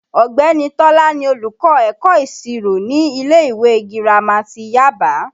Ọ̀gbẹ́ni Tọ́lá ni olùkọ́ ẹ̀kọ́ ìṣirò ní ilé ìwé girama ti Yaba